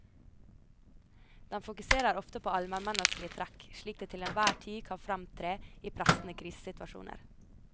Den fokuserer ofte på almenmenneskelige trekk, slik de til enhver tid kan fremtre i pressede krisesituasjoner.